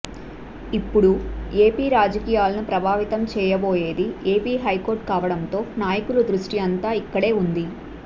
ఇప్పుడు ఏపీ రాజకీయాలను ప్రభావితం చేయబోయేది ఏపీ హైకోర్టు కావడంతో నాయకుల ద్రుష్టి అంతా ఇక్కడే ఉంది